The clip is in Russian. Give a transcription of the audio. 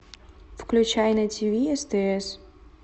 включай на тиви стс